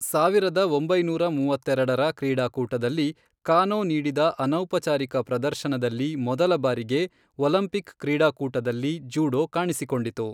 ಸಾವಿರದ ಒಂಬೈನೂರ ಮೂವತ್ತೆರೆಡರ ಕ್ರೀಡಾಕೂಟದಲ್ಲಿ, ಕಾನೋ ನೀಡಿದ ಅನೌಪಚಾರಿಕ ಪ್ರದರ್ಶನದಲ್ಲಿ ಮೊದಲ ಬಾರಿಗೆ ಒಲಂಪಿಕ್ ಕ್ರೀಡಾಕೂಟದಲ್ಲಿ ಜೂಡೋ ಕಾಣಿಸಿಕೊಂಡಿತು.